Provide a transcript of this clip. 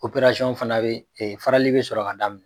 fana bɛ, farali bɛ sɔrɔ ka daminɛ.